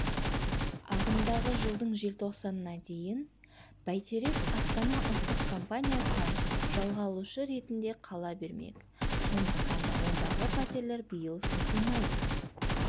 ағымдағы жылдың желтоқсанына дейін бәйтерек астана ұлттық компаниясынан жалға алушы ретінде қала бермек сондықтан да ондағы пәтерлер биыл сатылмайды